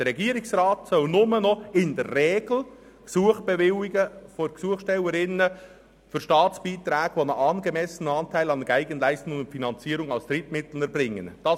Der Regierungsrat soll nur noch in der Regel Gesuche von Gesuchstellerinnen und Gesuchstellern für Staatsbeiträge, «die einen angemessenen Anteil an Eigenleistungen und Finanzierung aus Drittmitteln erbringen» bewilligen.